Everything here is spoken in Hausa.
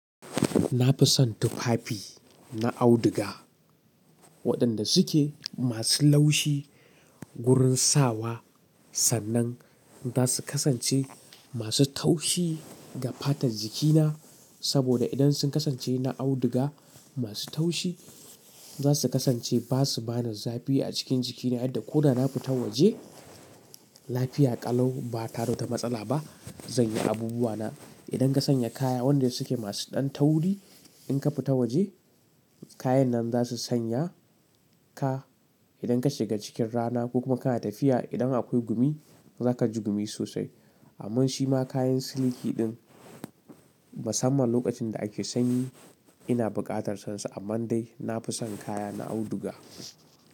Na fi son tufafi na auduga waɗanda suke masu laushi. Gurin sawa sannan za su kasance masu taushi ga fatar jikina. Saboda idan sun kasance na auduga masu taushi za su kasance ba su ba na zafi a cikin jikina. In da ko da na fita waje lafiya ƙalau ba ta rota matsala ba. Zan yi abubuwa na. Idan ka sanya kaya waɗanda suke masu ɗan tawuri, in ka fita waje kayan nan za su sanya ka. Idan ka shiga cikin rana ko kuma kana tafiya idan akwai gumi za ka ji gumi sosai. Amman shima kayan siliki ɗin musamman lokacin da ake sanyi ina buƙatar sansu. Amma dai na fi son kaya na auduga.